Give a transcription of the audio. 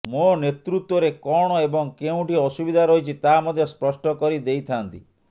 ମୋ ନେତୃତ୍ବରେ କଣ ଏବଂ କେଉଁଠି ଅସୁବିଧା ରହିଛି ତାହା ମଧ୍ୟ ସ୍ପଷ୍ଟ କରି ଦେଇଥାଆନ୍ତି